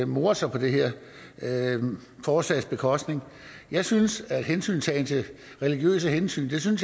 more sig på det her forslags bekostning jeg synes religiøse hensyn